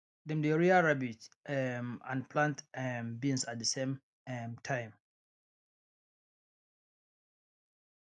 dem dey rear rabbit um and plant um beans at the same um time